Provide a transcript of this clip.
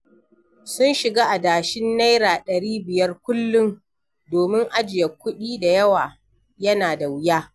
Sun shiga adashin Naira ɗari biyar kullum, domin ajiye kuɗi da yawa yana da wuya.